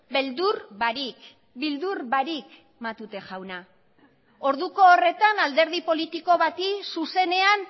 beldur barik beldur barik matute jauna orduko horretan alderdi politiko bati zuzenean